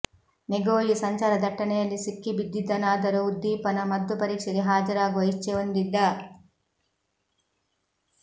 ನೆಗೋಯಿ ಸಂಚಾರದಟ್ಟಣೆಯಲ್ಲಿ ಸಿಕ್ಕಿಬಿದ್ದಿದ್ದನಾದರೂ ಉದ್ದೀಪನ ಮದ್ದು ಪರೀಕ್ಷೆಗೆ ಹಾಜರಾಗುವ ಇಚ್ಛೆ ಹೊಂದಿದ್ದ